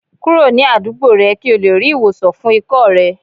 Kuro ni adugbo rẹ ki o le ri iwosan fun ikọ́ rẹ